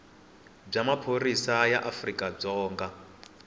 bya maphorisa ya afrika dzonga